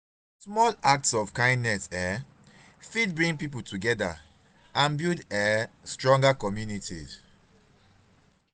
small acts of kindness um fit bring people together and build um stronger communities.